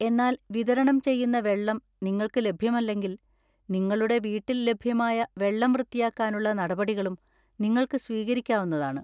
എന്നാൽ വിതരണം ചെയ്യുന്ന വെള്ളം നിങ്ങൾക്ക് ലഭ്യമല്ലെങ്കിൽ, നിങ്ങളുടെ വീട്ടിൽ ലഭ്യമായ വെള്ളം വൃത്തിയാക്കാനുള്ള നടപടികളും നിങ്ങൾക്ക് സ്വീകരിക്കാവുന്നതാണ്.